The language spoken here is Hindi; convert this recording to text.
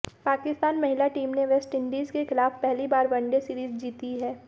पाकिस्तान महिला टीम ने वेस्टइंडीज के खिलाफ पहली बार वनडे सीरीज जीती है